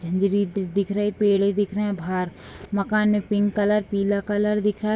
झंझरी दि दिख रही है पेड़े देख रहे हैं बाहर मकान में पिंक कलर पीला कलर दिख रहा है।